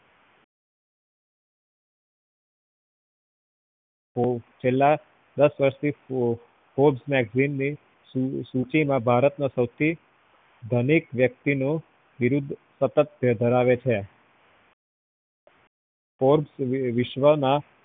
છેલ્લા દસ વર્ષ થી sports magazine ની સૂચી માં ભારત ના સવથી ધનિક વ્યક્તિ નો બિરુદ સતક ધરાવે છે વિશ્વના